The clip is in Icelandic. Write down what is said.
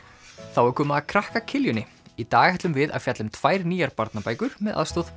þá er komið að krakka í dag ætlum við að fjalla um tvær nýjar barnabækur með aðstoð